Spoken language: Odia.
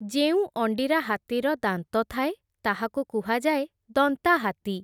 ଯେଉଁ ଅଣ୍ଡିରା ହାତୀର ଦାନ୍ତ ଥାଏ, ତାହାକୁ କୁହାଯାଏ ଦନ୍ତାହାତୀ ।